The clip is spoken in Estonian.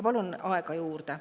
Palun aega juurde.